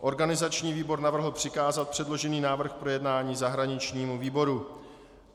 Organizační výbor navrhl přikázat předložený návrh k projednání zahraničnímu výboru.